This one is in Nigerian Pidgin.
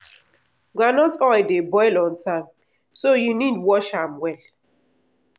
groundnut oil dey boil on time so u need watch am well.